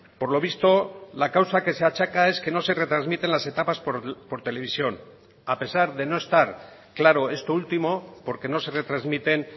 por lo visto la causa que se achaca es que no se retransmiten las etapas por televisión a pesar de no estar claro esto último porque no se retransmiten